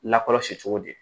Lakɔlɔsi cogo di